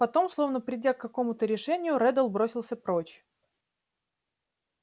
потом словно придя к какому-то решению реддл бросился прочь